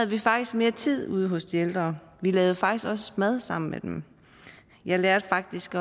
vi faktisk mere tid ude hos de ældre vi lavede faktisk også mad sammen med dem jeg lærte faktisk